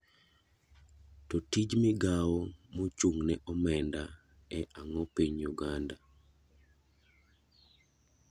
To tij migao mochung ne omenda e ang'o e piny Uganda?